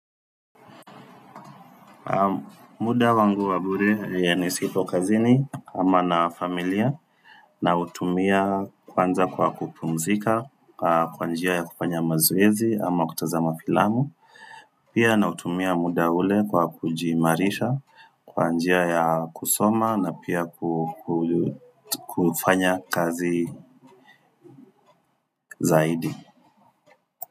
Muda wangu wabure nisipo kazini ama na familia nautumia kwanza kwa kupumzika kwa njia ya kufanya mazoezi ama kutazama filamu Pia na nautumia muda ule kwa kujihimarisha kwa njia ya kusoma na pia kufanya kazi zaidi.